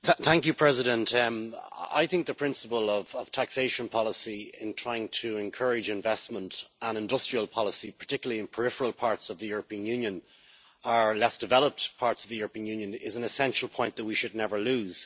Madam President, the principle of taxation policy in trying to encourage investment and industrial policy particularly in peripheral parts of the European Union or less developed parts of the Union is an essential point that we should never lose.